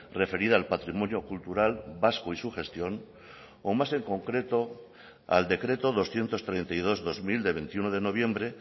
referida al patrimonio cultural vasco y su gestión o más en concreto al decreto doscientos treinta y dos barra dos mil de veintiuno de noviembre